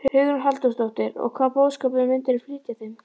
Hugrún Halldórsdóttir: Og hvaða boðskap myndirðu flytja þeim?